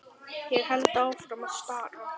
Ég held áfram að stara.